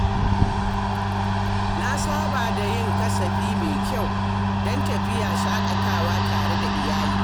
Na saba da yin kasafi mai kyau don tafiya shaƙatawa tare da iyali.